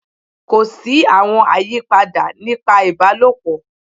Ko si awọn ayipada nipa ibalopọ